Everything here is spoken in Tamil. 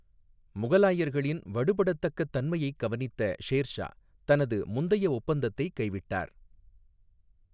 முகலாயர்களின் வடுபடத்தக்கத் தன்மையைக் கவனித்த ஷேர்ஷா தனது முந்தைய ஒப்பந்தத்தை கைவிட்டார்.